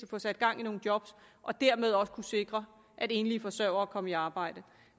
få sat gang i nogle job og dermed også kunne sikre at enlige forsørgere kom i arbejde